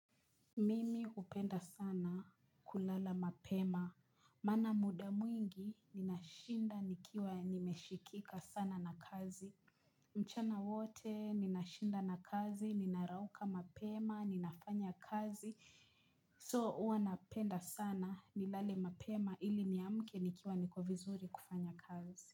Mimi hupenda sana kulala mapema, maana muda mwingi ninashinda nikiwa nimeshikika sana na kazi, mchana wote ninashinda na kazi, ninarauka mapema, ninafanya kazi, so huwa napenda sana nilale mapema ili ni amke nikiwa niko vizuri kufanya kazi.